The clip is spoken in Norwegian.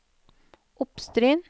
Oppstryn